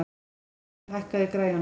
Þorleifur, hækkaðu í græjunum.